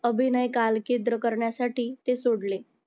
अभिनय कालकेंद्र करण्यासाठी ते सोडले.